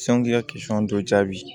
k'i ka dɔ jaabi